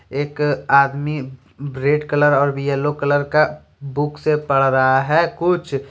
एक आदमी red colour और येलो कलर का बुक से पढ़ रहा है कुछ।